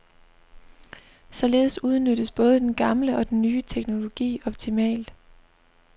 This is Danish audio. Således udnyttes både den gamle og den nye teknologi optimalt.